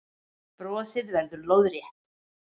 Brosið verður lóðrétt.